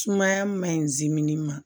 Sumaya man ɲi zimini ma